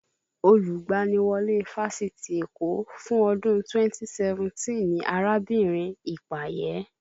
Olùgbaniwọlé Fáṣitì Èkó fún ọdún 2017 ni arábìnrin Ipaye